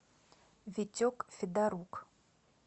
витек федорук